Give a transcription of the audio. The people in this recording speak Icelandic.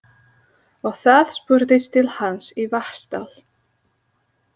Og það spurðist til hans í Vatnsdal.